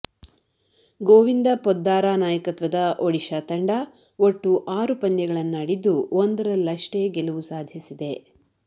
ಗೋವಿಂದ ಪೊದ್ದಾರ ನಾಯಕತ್ವದ ಒಡಿಶಾ ತಂಡ ಒಟ್ಟು ಆರು ಪಂದ್ಯಗಳನ್ನಾಡಿದ್ದು ಒಂದರಲ್ಲಷ್ಟೇ ಗೆಲುವು ಸಾಧಿಸಿದೆ